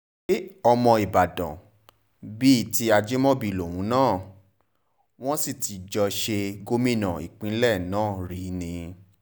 ṣe ọmọ ìbàdàn bíi ti ajimobi lòun náà wọ́n sì ti jọ ṣe gómìnà ìpínlẹ̀ náà rí ni